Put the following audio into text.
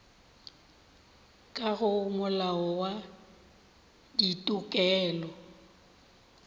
ka go molao wa ditokelo